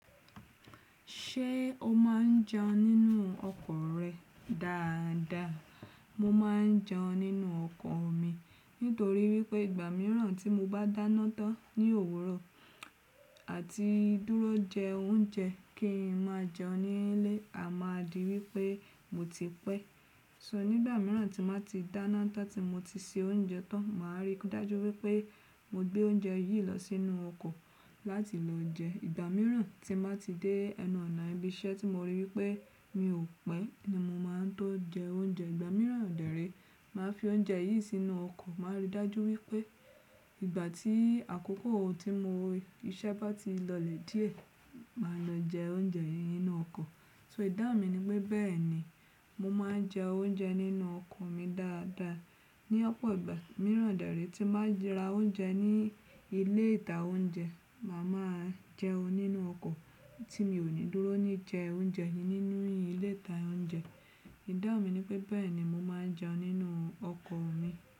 Ṣé o má n jeun nínú ọkọ̀ rẹ dáadáa? Mo ma n jẹ nínú ọkọ̀ mi nítorí wípé ìgbà mìíràn tí mo bá dáná tán ní òwúrọ̀ àti dúró jẹ oúnjẹ kí n máa jẹ ní ilé, a máa di wípé mo ti pẹ́. So nígbà míràn tí mo ti dáná tán tí mo ti se oúnjẹ tán, màá rí i dájú wípé mo gbé oúnjẹ yìí lọ sínú ọkọ̀ láti lọ jẹ. Ìgbà míràn tí mo bá ti dé ẹnu ọ̀nà ibi iṣẹ́ tí mo rí wípé mi ò pẹ́ ni mo máa tó jẹ oúnjẹ. Ìgbà míràn dẹ̀rẹ́, màá fi oúnjẹ yìí sínú ọkọ̀, màá rí i dájú wípé ìgbà tí àkókò tí mo rí iṣẹ́ bá ti lọlẹ̀ diẹ, màá lọ jẹ oúnjẹ yìí nínú ọkọ̀. So ìdáhun mi ni pé bẹ́ẹ̀ni, mo máa n jẹ oúnjẹ nínú ọkọ̀ mi dáadáa. Ni ọ̀pọ̀ ìgbà míràn dẹ̀rẹ́ tí màá ra oúnjẹ ní ilé ìta oúnjẹ, màá máa jẹ́ nínú ọkọ̀ tí mi ò ní dúró ní jẹ oúnjẹ yìí nínú ilé ìta oúnjẹ. Ìdáhun mi ni pé bẹ́ẹ̀ni mo máa n jẹ nínú ọkọ̀ mi.